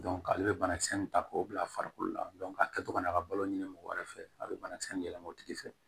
ale bɛ banakisɛ in ta k'o bila farikolo la a kɛtɔ ka n'a ka balo ɲini mɔgɔ wɛrɛ fɛ a bɛ banakisɛ in yɛlɛma o tigi fɛ